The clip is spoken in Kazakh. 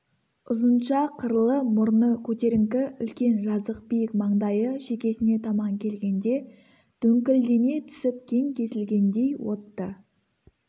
ұзынша қырлы мұрны көтеріңкі үлкен жазық биік маңдайы шекесіне таман келгенде дөңкілдене түсіп кең кесілгендей отты